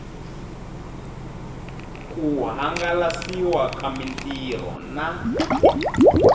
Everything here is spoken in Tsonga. ku hangalasiwa ka mitirho na